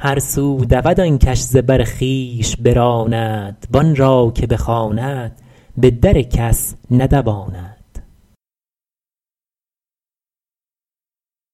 هر سو دود آن کش ز بر خویش براند وآن را که بخواند به در کس ندواند